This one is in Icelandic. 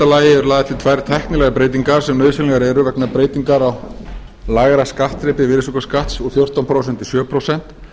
eru lagðar til tvær tæknilegar breytingar sem nauðsynlegar eru vegna breytingar á lægra skattþrepi virðisaukaskatts úr fjórtán prósent í sjö prósent